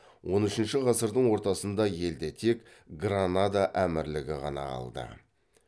он үшінші ғасырдың ортасында елде тек гранада әмірлігі ғана қалды